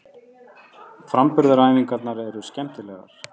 Framburðaræfingarnar eru skemmtilegar.